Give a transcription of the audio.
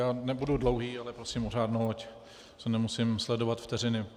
Já nebudu dlouhý, ale prosím o řádnou, ať nemusím sledovat vteřiny.